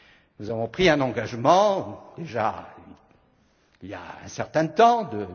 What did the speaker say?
nous avons pris un engagement, il y a déjà un certain temps,